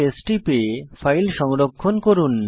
CtrlS টিপে file সংরক্ষণ করুন